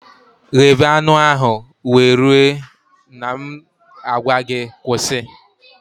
Ghebe anụ ahụ wee rue na m a gwa gị kwụsị